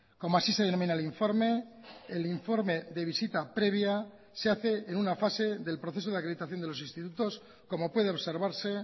como así se denomina el informe el informe de visita previa se hace en una fase del proceso de acreditación de los institutos como puede observarse